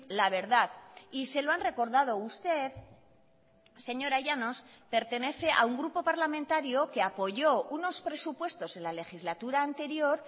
la verdad y se lo han recordado usted señora llanos pertenece a un grupo parlamentario que apoyó unos presupuestos en la legislatura anterior